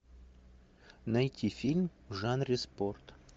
найти фильм в жанре спорт